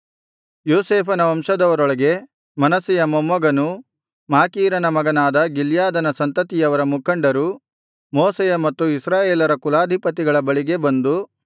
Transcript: ಯೋಸೇಫನ ವಂಶದವರೊಳಗೆ ಮನಸ್ಸೆಯ ಮೊಮ್ಮಗನೂ ಮಾಕೀರನ ಮಗನಾದ ಗಿಲ್ಯಾದನ ಸಂತತಿಯವರ ಮುಖಂಡರು ಮೋಶೆಯ ಮತ್ತು ಇಸ್ರಾಯೇಲರ ಕುಲಾಧಿಪತಿಗಳ ಬಳಿಗೆ ಬಂದು